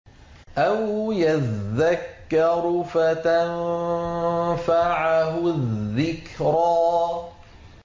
أَوْ يَذَّكَّرُ فَتَنفَعَهُ الذِّكْرَىٰ